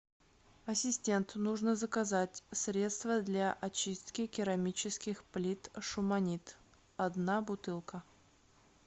ассистент нужно заказать средство для очистки керамических плит шуманит одна бутылка